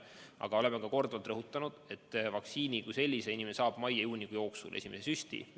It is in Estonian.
Aga oleme ka korduvalt rõhutanud, et vaktsiini inimene saab mai ja juuni jooksul – esimese süsti.